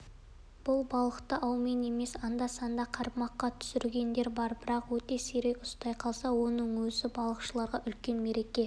едіге артель құрамында қысы-жазы балықтың неше түрін ірісін де уағын да асылында жасығын да аулап жүріп бірақ ауға